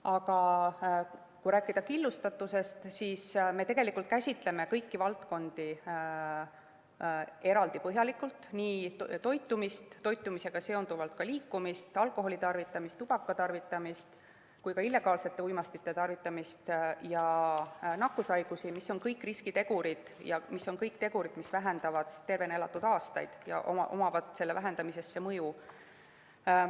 Aga kui rääkida killustatusest, siis me käsitleme kõiki valdkondi eraldi ja põhjalikult, nii toitumist, toitumisega seonduvalt ka liikumist, alkoholitarvitamist, tubakatarvitamist kui ka illegaalsete uimastite tarvitamist ja nakkushaigusi, mis on kõik riskitegurid ja mis on kõik tegurid, mis vähendavad tervena elatud aastaid ja millel on selle vähendamisele mõju.